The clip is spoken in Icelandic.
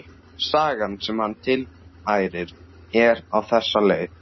Sagan sem hann tilfærir er á þessa leið